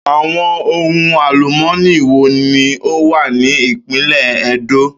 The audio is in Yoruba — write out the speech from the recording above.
Àwo̩n ohun àlùmó̩nì wo ni ó wà ní ìpínlè̩ E̩dó?